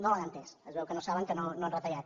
no l’han entès es veu que no saben que no han retallat